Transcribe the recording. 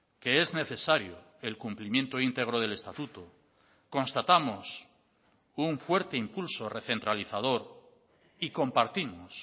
que es necesario el cumplimiento íntegro del estatuto constatamos un fuerte impulso recentralizador y compartimos